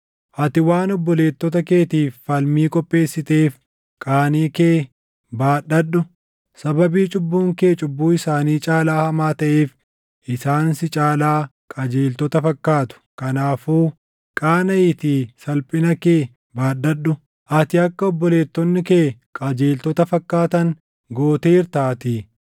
Ati waan obboleettota keetiif falmii qopheessiteef qaanii kee baadhadhu. Sababii cubbuun kee cubbuu isaanii caalaa hamaa taʼeef isaan si caalaa qajeeltota fakkaatu. Kanaafuu qaanaʼiitii salphina kee baadhadhu; ati akka obboleettonni kee qajeeltota fakkaatan gooteertaatii.